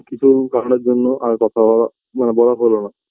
কিছু কারণের জন্য আর কথা হওয়া মানে বলা হলোনা